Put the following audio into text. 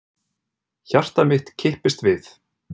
Hjarta mitt kipptist við.